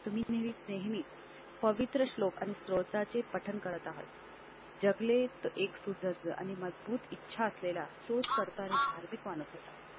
तुम्ही नेहमी पवित्र श्लोक आणि स्रोताचे पठण करत आहेत. जगलेत एक सुसज्ज आणि मजबूत इच्छा असलेला शोधकर्ता आणि धार्मिक वाढत होता.